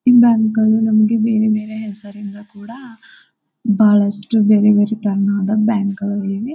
ಈ ಬ್ಯಾಂಕ್ ಗಳು ನಮಗೆ ಬೇರೆ ಬೇರೆ ಹೆಸರಿಂದ ಕೂಡ ಬಹಳಷ್ಟು ಬೇರೆ ಬೇರೆ ತರಹದ ಬ್ಯಾಂಕ್ ಗಳು ಇವೆ.